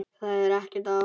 Það er ekkert að óttast.